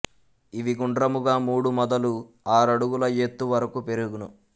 ఇవి గుండ్రముగా మూడు మొదలు ఆరడుగుల యెత్తు వరకు పెరుగును